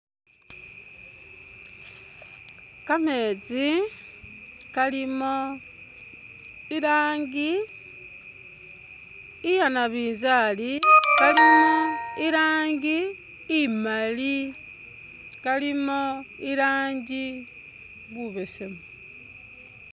Kameetsi kalimo ilangi inya nabizali kalimo ilangi imali kalimo ilangi bubesemu.